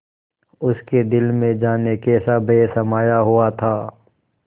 उसके दिल में जाने कैसा भय समाया हुआ था